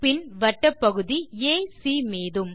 பின் வட்டப்பகுதி ஏசி மீதும்